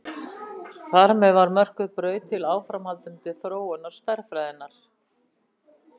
Þar með var mörkuð braut til áframhaldandi þróunar stærðfræðinnar.